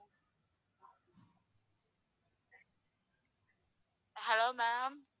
hello ma'am